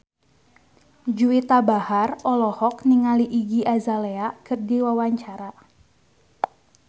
Juwita Bahar olohok ningali Iggy Azalea keur diwawancara